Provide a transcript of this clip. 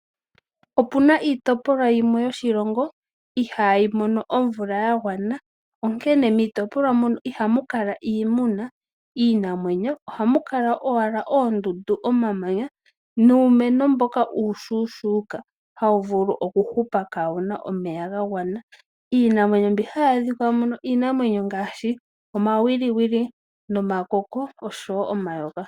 Opu na iitopolwa yimwe yoshilongo ihayi mono omvula ya gwana, onkene miitopolwa mono ihamu kala iimuna, iinamwenyo ohamu kala owala oondundu, omamanya nuumeno mboka uushuushuuka hawu vulu okuhupa kawu na omeya ga gwana. Iinamwenyo mbi hayi adhika muno iinamwenyo ngaashi omawiliwili, omakoko noshowo omayoka.